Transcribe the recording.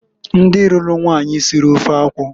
Ndi luru nwanyi siri ofe akwụ.